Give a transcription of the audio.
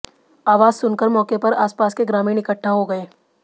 आवाज सुनकर मौके पर आसपास के ग्रामीण इकट्ठा हो गए